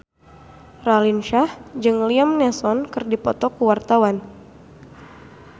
Raline Shah jeung Liam Neeson keur dipoto ku wartawan